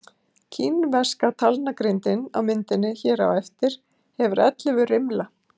kínverska talnagrindin á myndinni hér á eftir hefur ellefu rimla